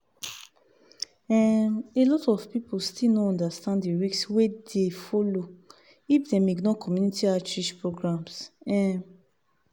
um a lot of people still no understand the risk wey dey follow if dem ignore community outreach programs. um